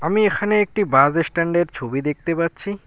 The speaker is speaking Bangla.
আমি এখানে একটি বাস স্ট্যান্ডের ছবি দেখতে পাচ্ছি।